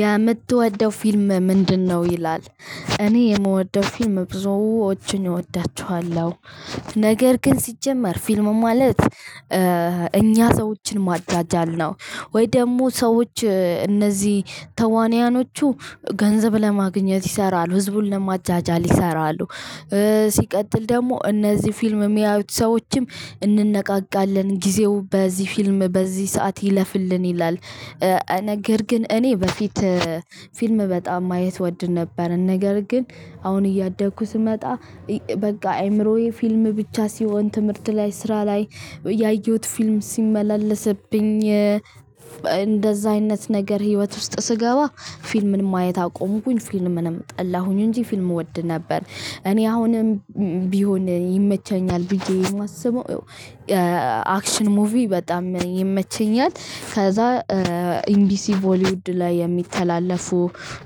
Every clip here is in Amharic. የምትወደው ፊልም ምንድነው? ይላል። እኔ የምወደው ፊልም ብዙዎችን እወዳቸዋለሁ። ነገር ግን ሲጀመር ፊልም ማለት እኛ ሰዎችን ማጃጃል ነው፤ ወይ ደግሞ ሰዎች እነዚህ ተዋንያኖቹ ገንዘብ ለማግኘት ይሰራሉ፤ ህዝቡን ለማጃጃል ይሰራሉ፤ ሲቀጥል ደግሞ እነዚህ ፊልም የሚያዩት ሰዎችም እንነቃቃለን፤ ጊዜው በዚህ ፊልም በዚህ ሰዓት ይለፍልን ይላል ነገር ግን እኔ በፊት ፊልም በጣም ማየት እወድ ነበር ነገር ግን አሁን እያደግኩ ስመጣ በቃ አይምሮዬ ፊልም ብቻ ሲሆን ትምህርት ላይ፣ ስራ ላይ ያየሁት ፊልም ሲመላለስብኝ እንደዛ አይነት ነገር ህይወት ውስጥ ስገባ ፊልምን ማየት አቆምኩኝ፤ ፊልምንም ጠላሁኝ እንጂ ፊልም እወድ ነበር። እኔ አሁንም ቢሆን ይመቸኛል ብዬ የማስበው አክሽን ሙቪ በጣም ይመቸኛል፤ ከዛ ኤምቢሲ በሊውድ ላይ የሚተላለፉ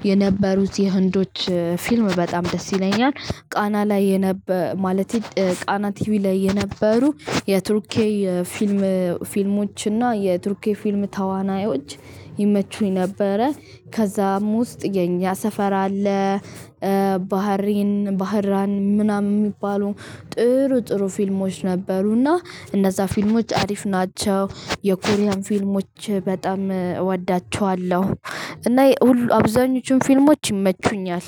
የነበሩት የህንዶች ፊልም በጣም ደስ ይለኛል። ቃና ላይ ማለቴ ቃና ቲቪ ላይ የነበሩ የቱርክዬ የፊልም ፊልሞች እና የቱርክዬ የፊልም ተዋናዮች ይመቹኝ ነበረ። ከዛም ውስጥ የኛ ሰፈር አለ፣ ባህሬን ባህራን ምናምን የሚባሉ ጥሩ ጥሩ ፊልሞች ነበሩ እና እነዛ ፊልሞች አሪፍ ናቸው። የኮሪያን ፊልሞች በጣም እወዳቸዋለሁ። እና የሁሉ አብዛኛዎቹ ፊልሞች ይመቹኛል።